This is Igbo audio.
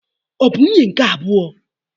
Ọ bụ nwunye nke abụọ?